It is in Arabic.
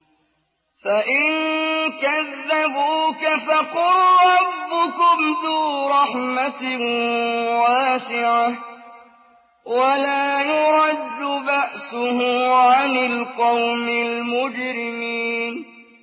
فَإِن كَذَّبُوكَ فَقُل رَّبُّكُمْ ذُو رَحْمَةٍ وَاسِعَةٍ وَلَا يُرَدُّ بَأْسُهُ عَنِ الْقَوْمِ الْمُجْرِمِينَ